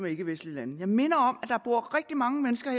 ikkevestlige lande jeg minder om at der bor rigtig mange mennesker